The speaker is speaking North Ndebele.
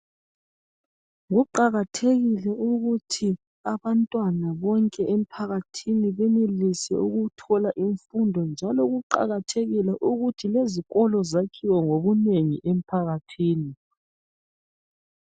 Kuqakathekile ukuthi abantwana bonke emphakathini benelise ukuthola imfundo njalo kuqakathekile ukuthi lezikolo zakhiwe ngobunengi emphakathini